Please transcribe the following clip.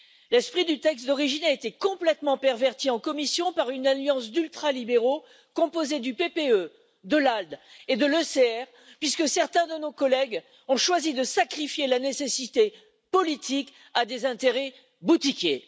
L'esprit du texte d'origine a été complètement perverti en commission par une alliance d'ultralibéraux composés du PPE, de l'ALDE et de l'ECR, puisque certains de nos collègues ont choisi de sacrifier la nécessité politique à des intérêts boutiquiers.